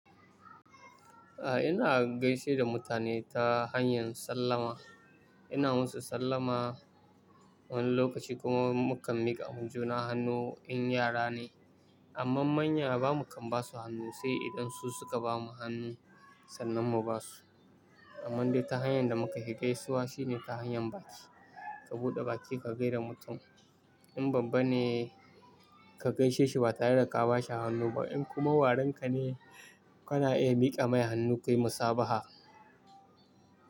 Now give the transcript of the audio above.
A'a ina gaishe da mutane ta hanyan sallama. Ina musu sallama wani lokaci kuma mu kan mika ma juna hannu in yara ne amma manya bamu kan basu hannu sai idan su suka bamu hannu sannan mu basu. Amman dai ta hanyar da muka fi gaisuwa shine ta hanyar baki, ka buɗe baki ka gaida mutum. In babba ne ka gaishe shi ba tare da ka ba shi hannu ba, in kuma warinka ne kana iya mika mai hannu kuyi musabaha.